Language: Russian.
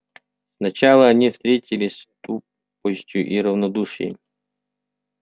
сначала они встретились с тупостью и равнодушием